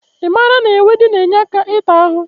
I maara na ewedu na-enye aka ịta ahụ?